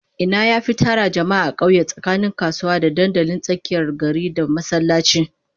Ina yafi tara jama'a a kauye tsakanin kasuwa, da dandalin tsakiyar gari, da masallaci?